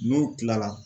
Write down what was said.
N'u kilala